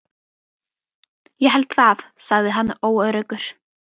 Ég held það sagði hann óöruggur.